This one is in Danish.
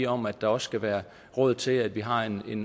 om at der også skal være råd til at vi har en